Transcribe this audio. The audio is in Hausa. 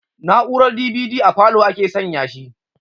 Na'urar DVD a falow ake san ya shi